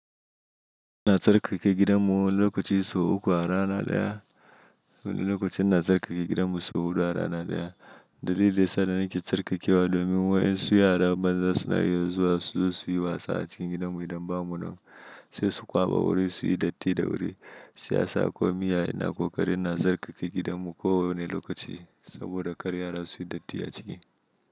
Ina tsarkake gidanmu lokaci sau uku a rana ɗaya. Wani lokaci ina tsarkake gidanmu sau hudu a rana daya dalilin da yasa nake tsarkakewa domin wayensu yaran banza suna iya zuwa suzo suyi wasa acikin gidanmu idan bamunan sai su kwaba wuri suyi datti da wuri. Shiyasa ko miya ina ko ƙari ina tsarkake gidanmu kowanne lokaci saboda kar yara su yi datti a ciki.